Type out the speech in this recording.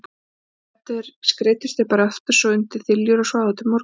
Svo þeir skreiddust bara aftur undir þiljur og sváfu til morguns.